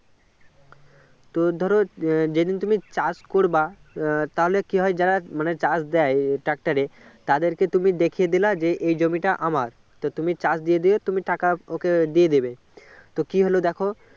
তো ধরো যেদিন তুমি চাষ করবে তাহলে কি হয় যারা মানে চাষ দেয় tractor এ তাদেরকে তুমি দেখিয়ে দিলে যে এই জমিটা আমার তুমি চাষ দিয়ে দিলে তুমি টাকা ওকে দিয়ে দেবে তো কী হল দেখো